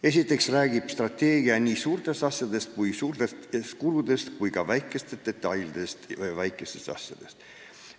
Esiteks räägib strateegia nii suurtest asjadest ja suurtest kuludest kui ka detailidest või väikestest asjadest.